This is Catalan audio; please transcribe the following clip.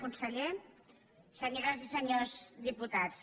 conseller senyores i senyors diputats